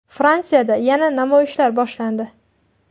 Fransiyada yana namoyishlar boshlandi.